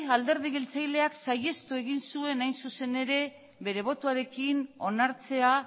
alderdi jeltzaleak saihestu egin zuen bere botoarekin onartzea